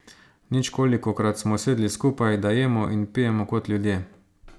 Ničkolikokrat smo sedli skupaj, da jemo in pijemo kot ljudje.